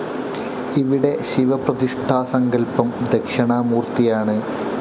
ഇവിടെ ശിവപ്രതിഷ്ടാ സങ്കൽപ്പം ദക്ഷിണാമൂർത്തിയാണ്